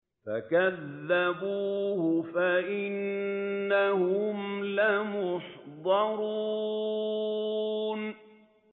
فَكَذَّبُوهُ فَإِنَّهُمْ لَمُحْضَرُونَ